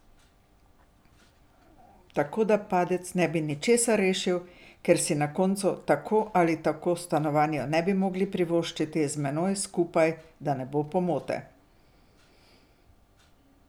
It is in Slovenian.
Tako, da padec ne bi ničesar rešil ker si na koncu tako ali tako stanovanja ne bi mogli privoščiti z menoj skupaj, da ne bo pomote.